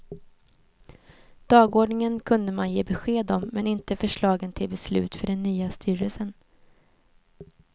Dagordningen kunde man ge besked om, men inte förslagen till beslut för den nya styrelsen.